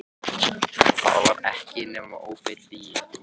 Það var ekki nema óbein lygi.